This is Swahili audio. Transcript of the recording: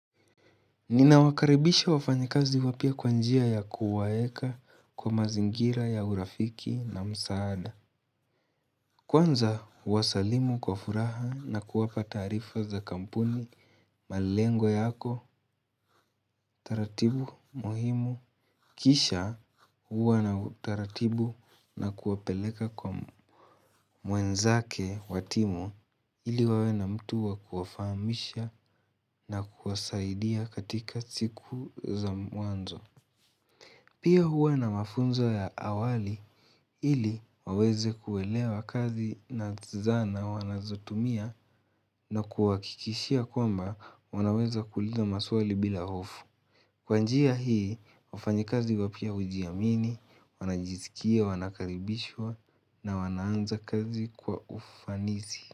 Ninawakaribisha wafanyikazi wapya kwa njia ya kuwaeka kwa mazingira ya urafiki na msaada Kwanza huwasalimu kwa furaha na kuwapa taqrifa za kampuni malengo yako taratibu muhimu Kisha huwa na taratibu na kuwapeleka kwa mwenzake wa timu ili wawe na mtu wa kuwafahamisha na kuwasaidia katika siku za mwanzo Pia huwa na mafunzo ya awali ili waweze kuelewa kazi na zana wanazotumia na kuwahakikishia kwamba wanaweza kuuliza maswali bila hofu. Kwa njia hii, wafanyikazi wapya hujiamini, wanajiskia, wanakaribishwa na wanaanza kazi kwa ufanisi.